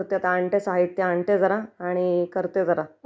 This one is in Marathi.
हा साहित्य आणते जरा..करते जरा